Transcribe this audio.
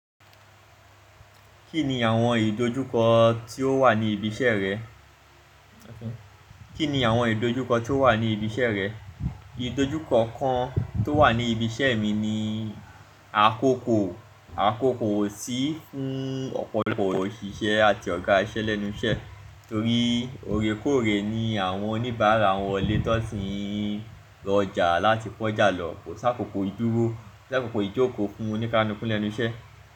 Kíni àwọm ìdojúkọ tí ó wà ní ibi iṣẹ́ rẹ? Kí ni àwọn ìdojúkọ tí ó wà ní ibi iṣẹ́ rẹ? Ìdojúkọ kan tó wà ní ibi iṣẹ́ mi ni àkókò, àkókò ò sí fún ọ̀pọ̀lọpọ̀ òṣìṣẹ́ àti ọ̀gá iṣẹ́ lẹ́nu iṣẹ́, torí órekóòrè ni àwọn oníbàárà ń wọlé tí wón sì ń lọ ọjà láti kó ọjà lọ, kò sí àkòkò ìdúró, kò sí àkòkò ìjókòó fún onìkálùkù lẹ́nu iṣẹ́.